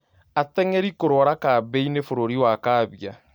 Ateng'eri kũrwara kambĩinĩ bũrũri wa Kambia